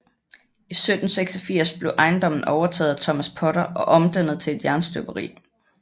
I 1786 blev ejendommen overtaget af Thomas Potter og omdannet til et jernstøberi